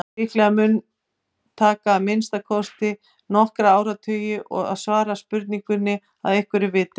Líklega mun taka að minnsta kosti nokkra áratugi að svara þeirri spurningu að einhverju viti.